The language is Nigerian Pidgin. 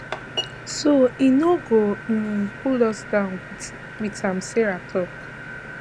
so e no go um pull us down wit am sarah tok